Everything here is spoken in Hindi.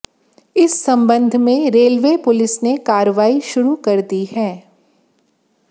इस संबंध में रेलवे पुलिस ने कार्रवाई शुरू कर दी है